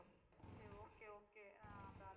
சரி okay okay ஆஹ் அந்த